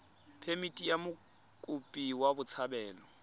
phemithi ya mokopi wa botshabelo